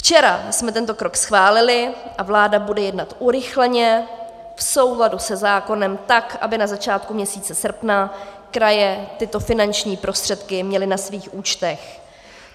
Včera jsme tento krok schválili a vláda bude jednat urychleně v souladu se zákonem, tak aby na začátku měsíce srpna kraje tyto finanční prostředky měly na svých účtech.